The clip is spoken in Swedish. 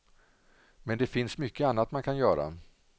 Men det finns mycket annat man kan göra.